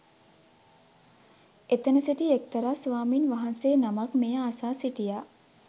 එතැන සිටි එක්තරා ස්වාමීන් වහන්සේ නමක් මෙය අසා සිටියා